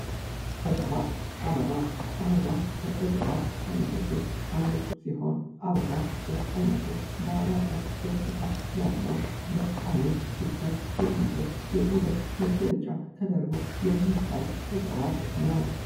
ዕጽዋት፦ አበባ ፦አበባ ከዕጽዋት አይነቶች አንዱ ሲሆን አበባ በአይነቱ ማራኪ ገጽታ ያለው ለአይን ሲታይ የሚያምር የውበት መገለጫ ተደርጎ የሚታይ ዕጽዋት ነው።